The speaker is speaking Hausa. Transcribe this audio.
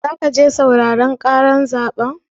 Zaka je sauraren ƙarar zaɓen?